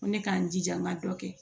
Ko ne k'a n jija n ka dɔ kɛ